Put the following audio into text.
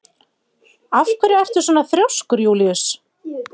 Af hverju ertu svona þrjóskur, Júlíus?